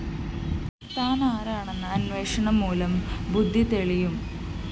താനാരാണെന്ന അന്വേഷണം മൂലം ബുദ്ധി തെളിയും